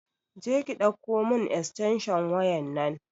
Jeka ɗauko mun estensho waya nan